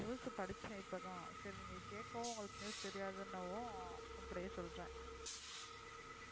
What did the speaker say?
News அ படிச்சேன் இப்போ தான் அப்டியே நீங்க கேக்கவும் உங்களுக்கு news தெரியாது நவும் அப்டியே சொல்றேன்